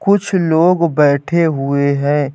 कुछ लोग बैठे हुए हैं।